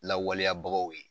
Lawaleyabagaw ye